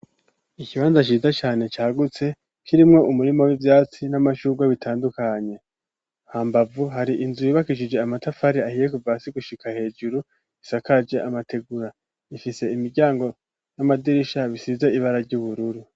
Ikibanza ciza cane cagutse kirimwo umurima w'ivyatsi n'amashurwe bitandukanye. Hambavu hari inzu yubakishije amatafari ahiye kuva hasi gushika hejuru isakaje amategura. Ifise imiryango n'amadirisha bisize ibara ry'ubururu.